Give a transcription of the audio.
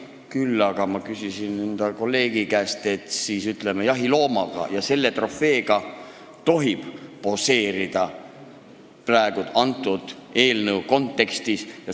Küll aga küsisin ma kolleegi käest, et kas siis, ütleme, jahiloomade ja selliste trofeedega tohib selle eelnõu kontekstis poseerida.